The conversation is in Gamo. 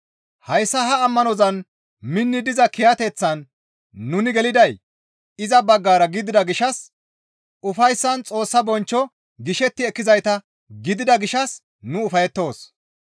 Hayssa ha ammanozan minni diza kiyateththan nuni geliday iza baggara gidida gishshas ufayssan Xoossa bonchcho gishetti ekkizayta gidida gishshas nu ufayettoos.